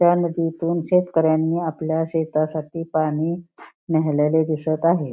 त्या नदीतून शेतकऱ्यांनी आपल्या शेतासाठी पाणी नेलेले दिसत आहे.